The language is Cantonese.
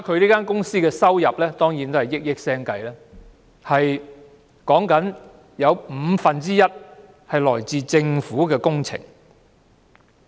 這間公司的收入當然是以億元計，但原來其中五分之一是來自政府工程。